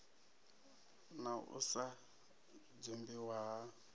na u sa dzumbiwa ha